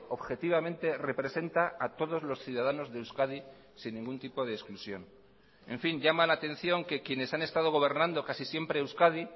objetivamente representa a todos los ciudadanos de euskadi sin ningún tipo de exclusión en fin llama la atención que quienes han estado gobernando casi siempre euskadi